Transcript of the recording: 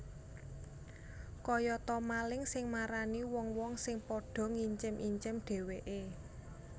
Kaya ta maling sing marani wong wong sing padha ngincim incim dhèwèké